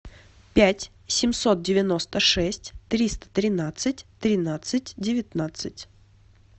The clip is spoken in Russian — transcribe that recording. пять семьсот девяносто шесть триста тринадцать тринадцать девятнадцать